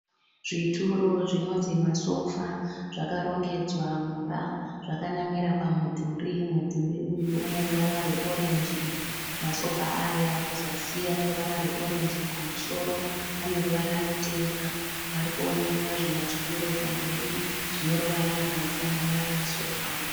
Zvituro zvinonzi masofa zvakarongedzwa mumba zvakanamira pamudhuri. Mudhuri uyu uneruvara rweorenji. Masofa aya kuzasi aneruvara rweorenji kumusoro aneruvara rutema. Parikuoneka zvimwe zvimasituro pamberi zvineruvara rwunofanana nemasofa.